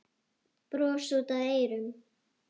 Bros út að eyrum.